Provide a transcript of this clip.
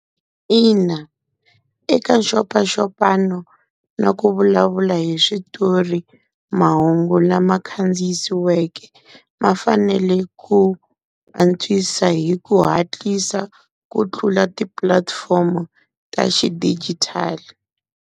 Ina eka nxopaxopano na ku vulavula hi switori mahungu lama khandziyisiweke ma fanele ku antswisa hi ku hatlisa ku tlula ti-platform-o ta xidigitali.